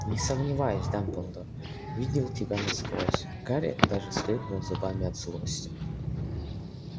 не сомневаюсь дамблдор видел тебя насквозь гарри даже скрипнул зубами от злости